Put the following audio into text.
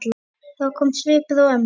Þá kom svipur á ömmu.